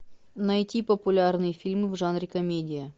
найти популярные фильмы в жанре комедия